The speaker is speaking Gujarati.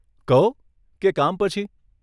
કહો, કે કામ પછી?